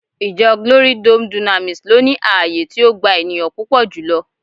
Ijo glory dome dunamis lo ni ààyè ti o gba eniyan pupo julo